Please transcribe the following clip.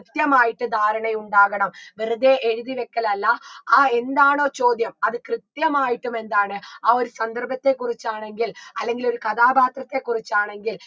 കൃത്യമായിട്ട് ധാരണയുണ്ടാകണം വെറുതെ എഴുതി വെക്കലല്ല ആ എന്താണോ ചോദ്യം അത് കൃത്യമായിട്ടും എന്താണ് ആ ഒരു സന്ദർഭത്തെ കുറിച്ചാണെങ്കിൽ അല്ലെങ്കിൽ ഒരു കഥാപാത്രത്തെ കുറിച്ചാണെങ്കിൽ